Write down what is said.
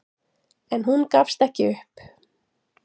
En hún gafst ekki upp.